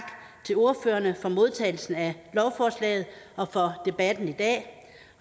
til ordførerne for modtagelsen af lovforslaget og for debatten i dag